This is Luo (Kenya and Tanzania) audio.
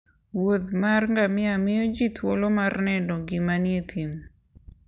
wuodh mar ngamia miyo ji thuolo mar neno ngima e thim